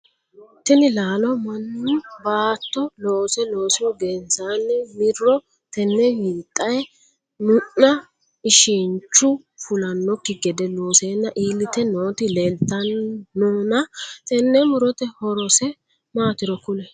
Tinni laallo mannu baatto loose loosihu gensanni Miro tenne wixe mu'nna ishinchu fulanoki gede loosenna iilite nooti leeltanonna tenne muroti horose maatiro kuli?